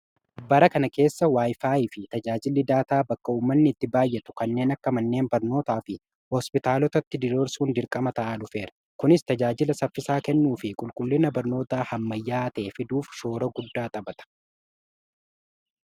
Bara kana keessa wayifaayi fi tajaajili daataa bakka uummanni itti baayyatu kanneen akka manneen barnootaa fi hospitaalotatti diriirsuun dirqama ta'aa dhufeera. Kunis tajaajila saffisaa kennuu fi qulqullina barnootaa ammayyaa ta'ee fiduuf shoora guddaa taphata.